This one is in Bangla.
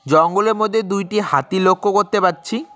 জঙ্গলের মধ্যে দুইটি হাতি লক্ষ করতে পারছি।